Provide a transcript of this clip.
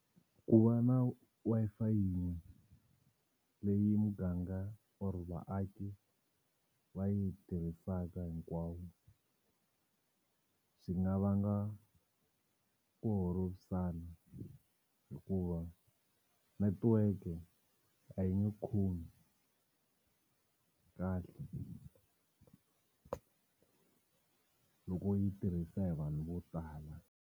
Ku va na Wi-Fi yin'we leyi muganga or vaaki va yi tirhisaka hinkwavo swi nga vanga ku holovisana hikuva netiweke a yi nga khomi kahle loko yi tirhisa hi vanhu vo tala.